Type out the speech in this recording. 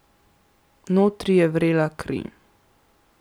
Notri je vrela kri.